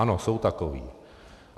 Ano, jsou takoví.